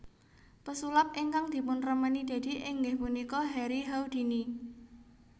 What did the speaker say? Pesulap ingkang dipunremeni Deddy inggih punika Harry Houdini